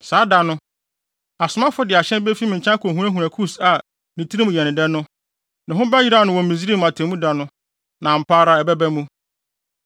“ ‘Saa da no, asomafo de ahyɛn befi me nkyɛn akohunahuna Kus a ne tirim yɛ no dɛ no. Ne ho bɛyeraw no wɔ Misraim atemmuda no, na ampa ara ɛbɛba mu.